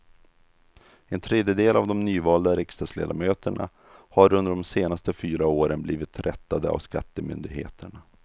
En tredjedel av de nyvalda riksdagsledamöterna har under de senaste fyra åren blivit rättade av skattemyndigheterna.